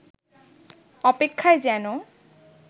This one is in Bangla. অপেক্ষায় যেন